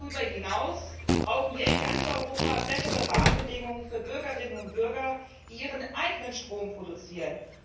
Darüber hinaus brauchen wir in ganz Europa bessere Rahmenbedingungen für Bürgerinnen und Bürger, die ihren eigenen Strom produzieren.